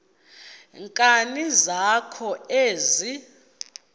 nkani zakho ezi